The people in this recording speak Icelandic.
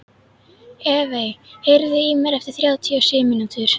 Evey, heyrðu í mér eftir þrjátíu og sjö mínútur.